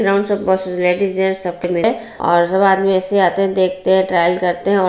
ground मे बहुत सारे लेडीज जेन्ट्स है और बाद मे ऐसे आते है देखते है ट्रायल करते है और--